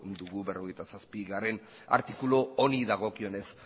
dugu berrogeita zazpigarrena artikulu honi dagokionez